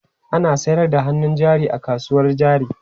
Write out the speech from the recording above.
Ana sayar da hannun jari a kasuwar jari.